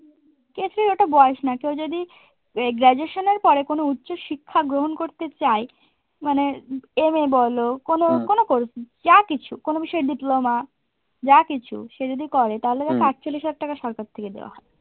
এটা বয়স না কেউ যদি গ্রাজুয়েশনের পরে কোনো উচ্চশিক্ষা গ্রহণ করতে চায় মানে MA বলো, কোনো কোনো যা কিছু কোনো বিষয়ে diploma যা কিছু সে যদি করে তাহলে হয়তো আটচল্লিশ হাজার টাকা সরকার থেকে দেওয়া হবে।